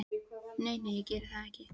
Nei, nei, ég geri það ekki.